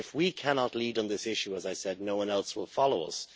If we cannot lead on this issue, as I said, no one else will follow us.